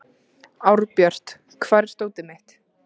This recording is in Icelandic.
Árbjört, hvar er dótið mitt?